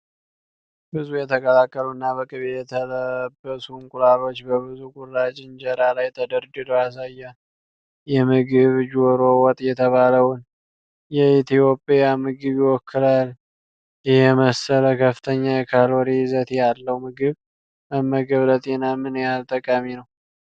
ብዙ የተቀቀሉና በቅቤ የተለበሱ እንቁላሎች በብዙ ቁራጭ እንጀራ ላይ ተደርድረው ያሳያል። ይህ ምግብ 'ዶሮ ወጥ' የተባለውን የኢትዮጵያ ምግብ ይወክላል? ይህን የመሰለ ከፍተኛ የካሎሪ ይዘት ያለው ምግብ መመገብ ለጤና ምን ያህል ጠቃሚ ነው?